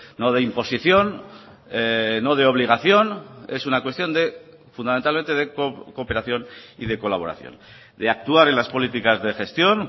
no de imposición no de obligación es una cuestión de fundamentalmente de cooperación y de colaboración de actuar en las políticas de gestión